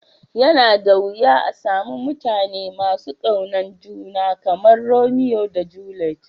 Ya na da wiya a'samu mutane masu Kyautan juna kamar Romeo da Juliet.